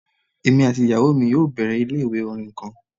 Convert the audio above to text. Emi ati iyawo mi yoo bẹrẹ ile-iwe orin kan